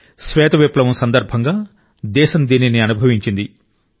శ్వేత విప్లవం సందర్భంగా దేశం దీనిని అనుభవించింది